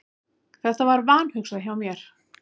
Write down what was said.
Þetta var vanhugsað hjá mér.